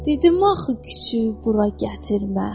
Dedim axı küçüyü bura gətirmə!